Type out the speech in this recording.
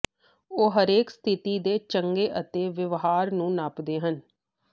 ਉਹ ਹਰੇਕ ਸਥਿਤੀ ਦੇ ਚੰਗੇ ਅਤੇ ਵਿਵਹਾਰ ਨੂੰ ਨਾਪਦੇ ਹਨ